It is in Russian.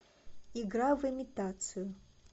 игра в имитацию